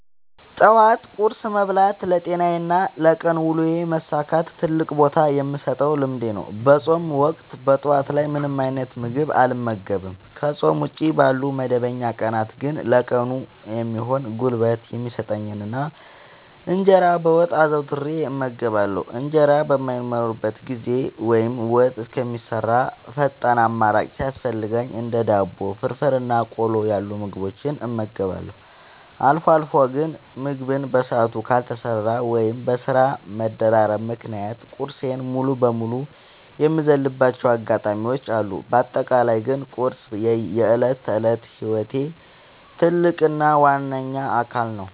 ጠዋት ቁርስ መብላት ለጤናዬና ለቀን ውሎዬ መሳካት ትልቅ ቦታ የምሰጠው ልምዴ ነው። በፆም ወቅት ጠዋት ላይ ምንም አይነት ምግብ አልመገብም። ከፆም ውጪ ባሉ መደበኛ ቀናት ግን ለቀኑ የሚሆን ጉልበት የሚሰጠኝን እንጀራ በወጥ አዘውትሬ እመገባለሁ። እንጀራ በማይኖርበት ጊዜ ወይም ወጥ እስከሚሰራ ፈጣን አማራጭ ሲያስፈልገኝ እንደ ዳቦ፣ ፍርፍር እና ቆሎ ያሉ ምግቦችን እመገባለሁ። አልፎ አልፎ ግን ምግብ በሰዓቱ ካልተሰራ ወይም በስራ መደራረብ ምክንያት ቁርሴን ሙሉ በሙሉ የምዘልባቸው አጋጣሚዎች አሉ። በአጠቃላይ ግን ቁርስ የዕለት ተዕለት ህይወቴ ትልቅ እና ዋነኛ አካል ነው።